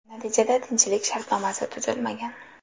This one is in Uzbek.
Natijada tinchlik shartnomasi tuzilmagan.